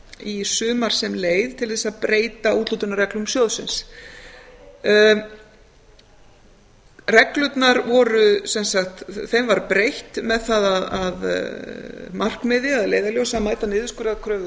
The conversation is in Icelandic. í sumar sem leið til þess að breyta úthlutunarreglum sjóðsins reglunum var breytt með það að markmiði eða leiðarljósi að mæta niðurskurðarkröfum fjármálaráðuneytisins